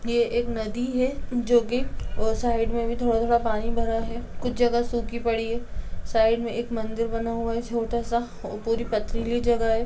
ये एक नदी है जो कि साइड में भी थोड़ा-थोड़ा पानी भरा है कुछ जगह सुखी पड़ी है साइड मे एक मंदिर बना हुआ है छोटा-सा ओ पुरी पथरीली जगह है।